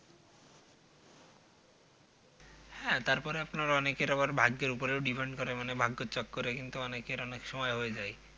হ্যাঁ তারপরে আপনার অনেকের আবার ভাগ্যের ওপরও Depend করে মানে ভাগ্যচক্রে কিন্তু অনেকের অনেক সময় হয়ে যায়